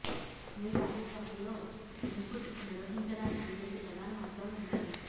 మీ కార్యక్రమంలో ఇన్పుట్ నిర్వహించడానికి రెండు ప్రధాన మార్గాలు ఉన్నాయి